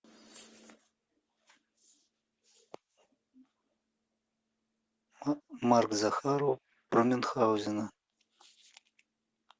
марк захаров про мюнхгаузена